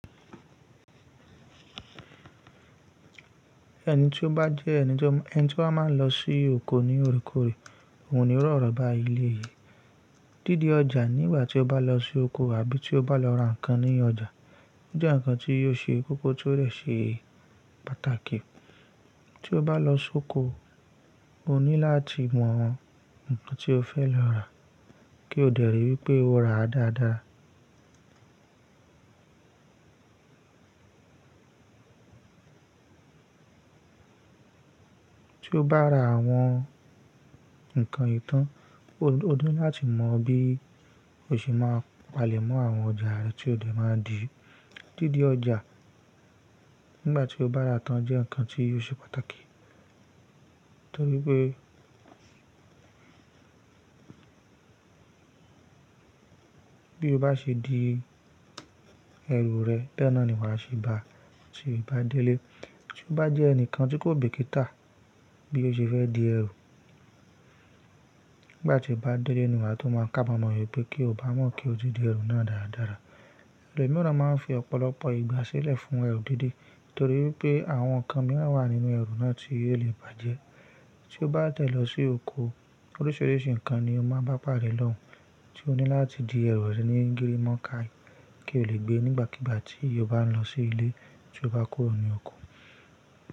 Ẹni tí ó bá jẹ́ ẹni tí ó máa n lọ sí oko ní òrékòré òhun ni ó rọ̀rọ̀ bá ilé ye. Dídi ọjà nígbà tí o bá lọ sí oko àbí tí o bá lọ ra nǹkan ní ọjà jẹ́ nǹkan tí yóò ṣe kókó tó rẹ̀ ṣe pàtàkì. Tí o bá lọ sóko o ní láti mọ nǹkan tí o fẹ́ lọ rà kí o dẹè ríi wípé o ra dáadáa. Tí o bá ra àwọn nǹkan yì tàn o ní láti mọ bí o ṣe máa palẹ̀ mọ́ àwọn ọjà rẹ tí o dẹè máa dì í. Dídi ọjà nígbà tí o bá raa tan jẹ́ nǹkan tí yóò ṣe pàtàkì torí pé bí o bá ṣe di ẹrù rẹ̀, béẹ̀ náà ni wà a ṣe bá a tí o bá délé. Tí o bá jẹ́ ẹnìkan tí kò bìkítà bí o ṣe fẹ́ di ẹrù nígbà tí o bá délé ni wà a tó máa kábamọ̀ wípé kí o bá mọ̀ kí o ti di ẹrù náà dáradára. Ẹlòmíràn máa n fi ọ̀pọ̀lọpọ̀ ìgbà sílẹ̀ fún ẹrù dìde torí pé àwọn nǹkan míràn wà nínú ẹrù náà tí yóò lè bàjẹ́. Tí o bá dẹ lọ sí oko, orísirísi ňkan ni o mán bá pàdé lóhűn tí o ní láti di erù rẹ ní gírímónkái, kí o lè gbe nígbàkígbà tí o bá ń lo sí ilé tí o bá kúrò ní oko.